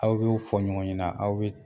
Aw bɛ u fɔ ɲɔgɔn ɲɛna aw